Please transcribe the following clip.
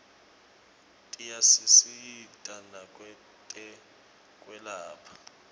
tiyasisita nakwetekwelapha